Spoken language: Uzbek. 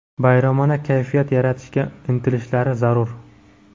bayramona kayfiyat yaratishga intilishlari zarur.